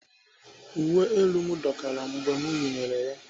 Uwe elu m dọkara mgbe m yinyere ya.